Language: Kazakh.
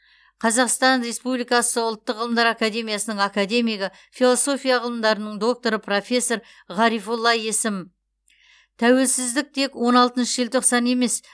қазақстан республикасы ұлттық ғылымдар академиясының академигі философия ғылымдарының докторы профессор ғарифолла есім тәуелсіздік тек он алтыншы желтоқсан емес